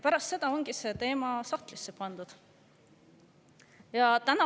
Pärast seda ongi see teema sahtlisse pandud.